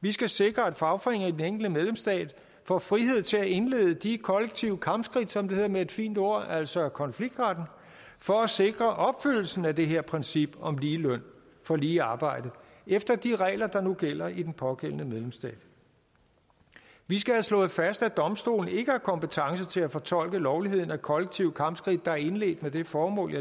vi skal sikre at fagforeningerne medlemsstater får frihed til at indlede de kollektive kampskridt som det hedder med et fint ord altså konfliktretten for at sikre opfyldelsen af det her princip om lige løn for lige arbejde efter de regler der nu gælder i den pågældende medlemsstat vi skal have slået fast at domstolen ikke har kompetence til at fortolke lovligheden af kollektive kampskridt der er indledt med det formål jeg